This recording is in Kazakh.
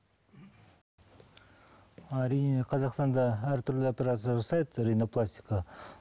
әрине қазақстанда әртүрлі операция жасайды ренопластика